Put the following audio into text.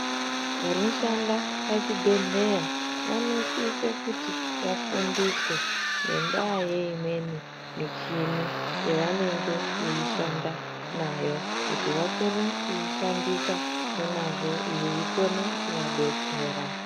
Vanoshanda pachibhehlera vanosise kuti vafundiswe ngendaa yeimweni michini yavanenge vavhishanda nayo vakone kuishandisa nemwazvo yeikona kuvadetsera.